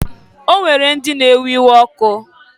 O nwere ndị na-ewe iwe ọkụ.